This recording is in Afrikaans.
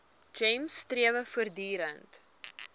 gems strewe voortdurend